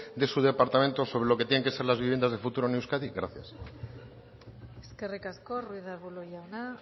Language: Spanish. de su departamento sobre lo que tienen que ser las viviendas de futuro en euskadi gracias eskerrik asko ruiz de arbulo jauna